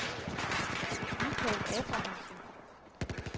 Michael Abrahamsen